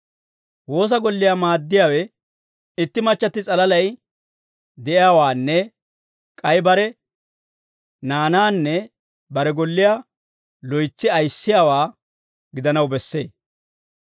Woosa golliyaa maaddiyaawe itti machchatti s'alalay de'iyaawaanne k'ay bare naanaanne bare golliyaa loytsi ayissiyaawaa gidanaw bessee.